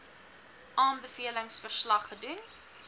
aanbevelings verslag gedoen